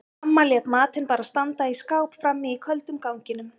Amma lét matinn bara standa í skáp frammi í köldum ganginum.